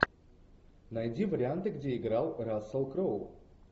найди варианты где играл рассел кроу